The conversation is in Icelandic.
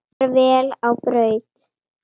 Far vel á braut.